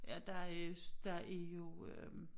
Ja der øh der er jo øh